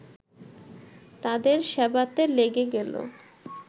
তাদের সেবাতে লেগে গেল